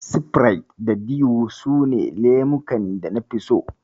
Sifirait da Dew su ne lemukan da nafi so.